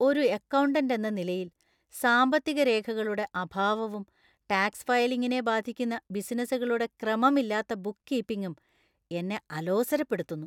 ഒരു അക്കൗണ്ടന്റ് എന്ന നിലയിൽ, സാമ്പത്തിക രേഖകളുടെ അഭാവവും ടാക്സ് ഫയലിംഗിനെ ബാധിക്കുന്ന ബിസിനസുകളുടെ ക്രമമില്ലാത്ത ബുക്ക് കീപ്പിംഗും എന്നെ ആലോസരപ്പെടുത്തുന്നു.